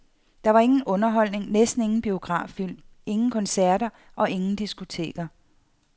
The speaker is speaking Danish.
Der var ingen underholdning, næsten ingen biograffilm, ingen koncerter og ingen diskoteker.